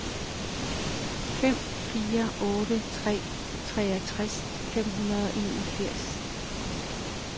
fem fire otte tre treogtres fem hundrede og enogfirs